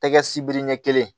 Tɛgɛ sibiri ɲɛ kelen